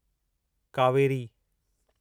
Kaveri